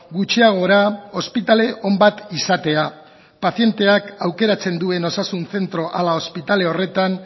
gutxiagora ospitale on bat izatea pazienteak aukeratzen duen osasun zentro ala ospitale horretan